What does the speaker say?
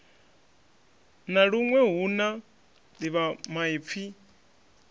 na luṅwe hu na ḓivhamaipfi